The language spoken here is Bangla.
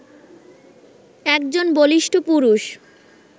একজন বলিষ্ঠ পুরুষ